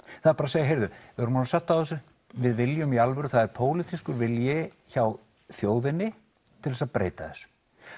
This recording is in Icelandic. það er bara að segja heyrðu við erum orðin södd á þessu við viljum í alvöru og það er pólitískur vilji hjá þjóðinni til þess að breyta þessu